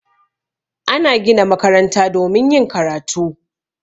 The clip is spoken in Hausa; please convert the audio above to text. Ana gina makaranta domin yin karatu